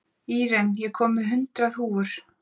Íren, ég kom með hundrað húfur!